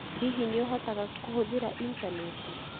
Hihi nĩ ũhotaga kũhũthĩra Initaneti?